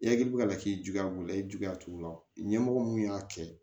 Yaki ka laki juguya b'u la i ye juguya t'u la ɲɛmɔgɔ mun y'a kɛ